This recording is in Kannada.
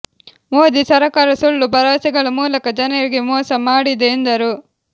ಮೋದಿ ಸರಕಾರ ಸುಳ್ಳು ಭರವಸೆಗಳ ಮೂಲಕ ಜನರಿಗೆ ಮೋಸ ಮಾಡಿದೆ ಎಂದರು